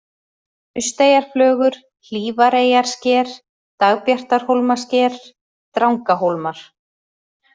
Nausteyjarflögur, Hlífareyjarsker, Dagbjartarhólmasker, Drangahólmar